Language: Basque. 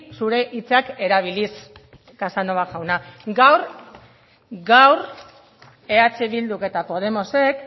zure hitzak erabiliz casanova jauna gaur eh bilduk eta podemosek